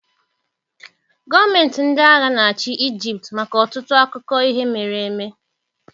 Gọọmenti ndị agha na-achị Egypt maka ọtụtụ akụkọ ihe mere eme ya.